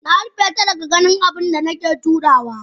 Narufeta daga ganin abunda nake turawa.